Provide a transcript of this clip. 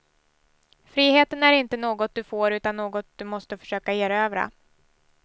Friheten är inte något du får utan något du måste försöka erövra.